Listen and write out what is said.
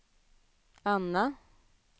Anna